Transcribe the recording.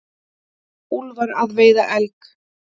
Úlfar að veiða elg.